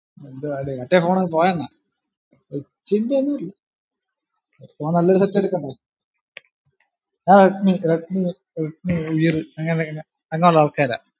എന്തുവാടെ മറ്റേ phone പോയണ്ണാ rich ന്റെയൊന്നല്ല എടുക്കുമ്പോ നല്ലൊരു set എടുക്കണ്ടേ ആഹ് റെഡ്‌മി റെഡ്‌മി റെഡ്‌മി ആൾകാരാ